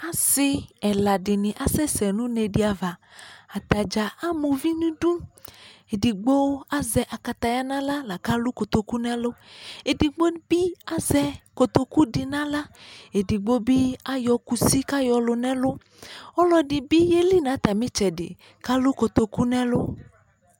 Ase ɛla se ne asɛsɛ no une de avaAta dza ama uvi nedu Edigba azɛ akataya nahla la kalu kotoku nɛlu, Edigbo be azɛ kotoku de nahla, edigbo be ayɔ kusi kayɔ lu nɛluƆlɔde be yeli na atame tsɛde kalu kotoku nɛlu